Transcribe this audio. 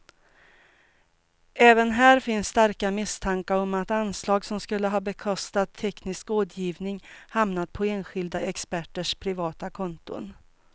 Även här finns starka misstankar om att anslag som skulle ha bekostat teknisk rådgivning hamnat på enskilda experters privata konton.